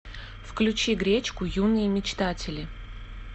включи гречку юные мечтатели